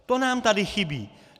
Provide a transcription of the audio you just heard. To nám tady chybí!